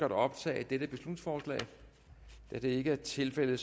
at optage dette beslutningsforslag da det ikke er tilfældet